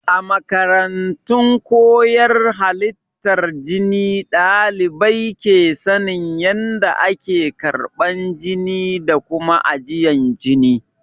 A karatun kwayyar halittar jini ɗalibai ke sanin ƴanda ake karban jini da Kuma ajiyan jini.